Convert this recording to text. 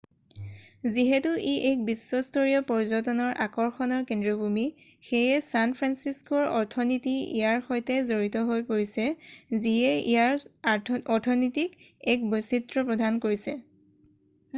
যিহেতু ই এক বিশ্বস্তৰীয় পৰ্যটনৰ আকৰ্ষণৰ কেন্দ্ৰভূমি সেয়ে ছান ফ্ৰানচিস্কোৰ অৰ্থনীতি ইয়াৰ সৈতে জড়িত হৈ পৰিছে যিয়ে ইয়াৰ অৰ্থনীতিক এক বৈচিত্ৰ্য প্ৰদান কৰিছে